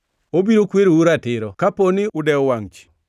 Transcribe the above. Obiro kwerou ratiro kapo ni udew wangʼ ji.